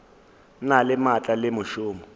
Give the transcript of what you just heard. na le maatla le mešomo